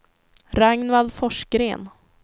Ragnvald Forsgren